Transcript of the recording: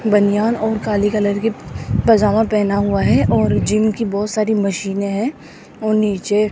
बनियान और काली कलर की पजामा पहना हुआ है और जिम की बहोत सारी मशीनें है और नीचे --